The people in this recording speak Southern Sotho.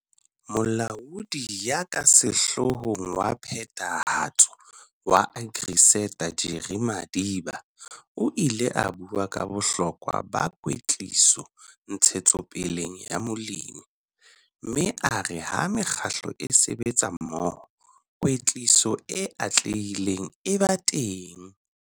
Molaodi ya ka sehlohong wa phethahatso wa AgriSeta, Jerry Madiba, o ile a bua ka bohlokwa ba kwetliso ntshetsopeleng ya molemi, mme a re ha mekgatlo e sebetsa mmoho, kwetliso e atlehileng e ba teng.